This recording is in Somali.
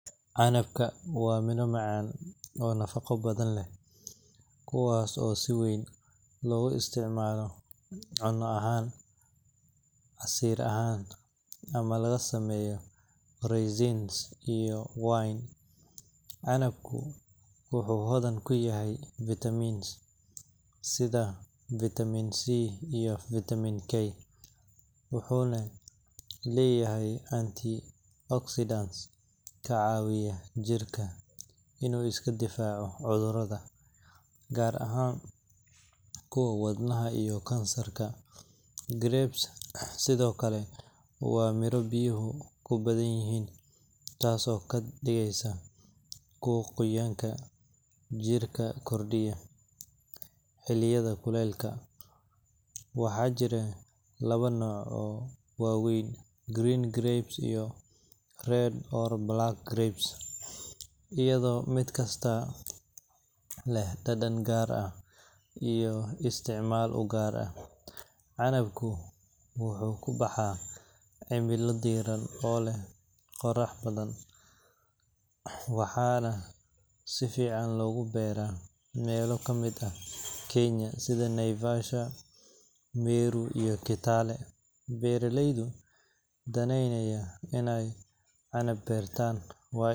canabka waa miro macaan oo nafaqo badan leh, kuwaas oo si weyn loogu isticmaalo cunno ahaan, casiir ahaan, ama laga sameeyo raisins iyo wine. Canabku wuxuu hodan ku yahay vitamins sida vitamin C iyo vitamin K, wuxuuna leeyahay antioxidants ka caawiya jirka inuu iska difaaco cudurrada, gaar ahaan kuwa wadnaha iyo kansarka. Grapes sidoo kale waa miro biyaha ku badan yihiin, taas oo ka dhigaysa kuwo qoyaanka jirka kordhiya xilliyada kulaylaha. Waxaa jira laba nooc oo waaweyn: green grapes iyo red or black grapes, iyadoo mid kasta leh dhadhan gaar ah iyo isticmaal u gaar ah. Canabka wuxuu ku baxaa cimilo diiran oo leh qorax badan, waxaana si fiican loogu beeraa meelo ka mid ah Kenya sida Naivasha, Meru, iyo Kitale. Beeralayda danaynaya in ay canab beertaan.